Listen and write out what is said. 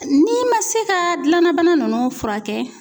N'i man se ka gilanna bana nunnu furakɛ